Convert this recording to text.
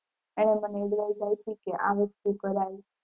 એને મને advice આપી કે આ વસ્તુ કરાય.